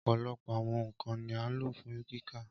Ọpọlọpọ awọn nkan ni a lo fun kika.